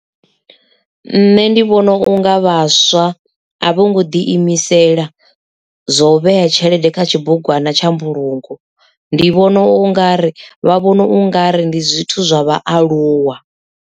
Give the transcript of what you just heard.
Nṋe ndi vhona unga vhaswa a vho ngo ḓi imisela zwo vhea tshelede kha tshibugwana tsha mbulungo ndi vhona u nga ri vha vhona u nga ri ndi zwithu zwa vhaaluwa.